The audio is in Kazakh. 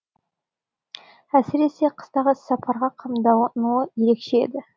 әсіресе қыстағы іс сапарға қамдануы ерекше еді